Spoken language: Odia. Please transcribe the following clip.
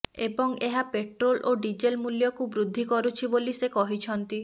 ଏବଂ ଏହା ପେଟ୍ରୋଲ ଓ ଡିଜେଲ ମୂଲ୍ୟକୁ ବୃଦ୍ଧି କରୁଛି ବୋଲି ସେ କହିଛନ୍ତି